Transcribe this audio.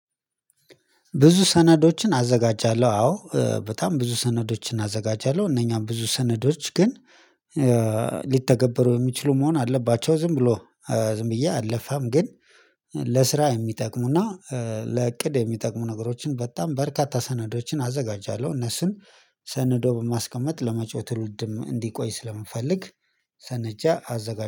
ብዙ ሰነዶችን አዘጋጃለሁ አዎ በጣም ብዙ ሰነዶችን አዘጋጃለሁ። እነኛም ብዙ ሰነዶች ግን ሊተገበሩ የሚችሉ መሆን አለባቸው። ዝም ብሎ ዝም ብዬ አለፋም። ግን ለስራ የሚጠቅሙና ለእቅድ የሚጠቅሙ ነገሮችን በጣም በርካታ ሰነዶችን አዘጋጃለሁ። እነሱን ሰንዶ በማስቀመጥ ለመጪው ትውልድም እንዲቆይ ስለምፈልግ ሰነጃ አዘጋጃለሁ